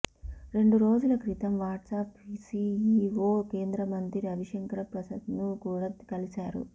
రెండు రోజుల క్రితం వాట్సాప్ సీఈవో కేంద్రమంత్రి రవిశంకర ప్రసాద్ను కూడా కలిశారు